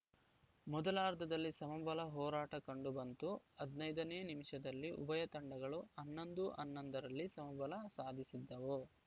ಮೊದಲಾರ್ಧದಲ್ಲಿ ಸಮಬಲ ಹೋರಾಟ ಕಂಡು ಬಂತು ಹದಿನೈದನೇ ನಿಮಿಷದಲ್ಲಿ ಉಭಯ ತಂಡಗಳು ಹನ್ನೊಂದು ಹನ್ನೊಂದು ರಲ್ಲಿ ಸಮಬಲ ಸಾಧಿಸಿದ್ದವು